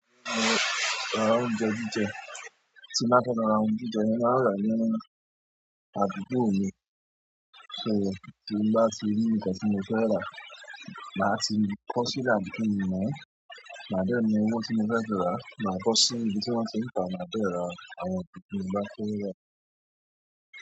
Tí n bá fẹ́ lọ ra ohun jíjẹ, mo máa ń ràá ní àdúgbò mi. So, tí n bá ti rí nǹkan tí mo fẹ́ rà, màá ti kọọ́ sílẹ̀ àbí kí n mọ̀-ọ́n. Màá dẹ̀ mú owó tí mo fẹ́ fi ràá, màá bọ́ sí ibi tí wọ́n ti ń tàá.